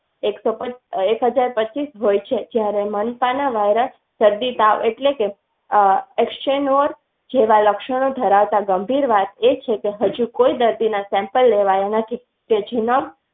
એક હજાર પાંચીસ હોય છે જયારે virus શરદી તાવ એટલે લક્ષણ ધરાવતા ગંભીર વાત એ છે કે હજુ કોઈ દર્દી ના sample લેવાયા.